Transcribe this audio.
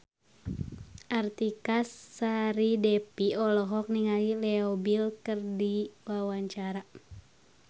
Artika Sari Devi olohok ningali Leo Bill keur diwawancara